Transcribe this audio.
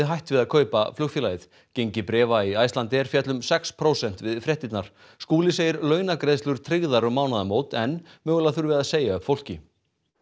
hætt við að kaupa flugfélagið gengi bréfa í Icelandair féll um sex prósent við fréttirnar Skúli segir launagreiðslur tryggðar um mánaðamót en mögulega þurfi að segja upp fólki